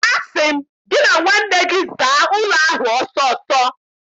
Asị m gị na nwanne gị zaa ụlọ ahụ ọsọ ọsọ!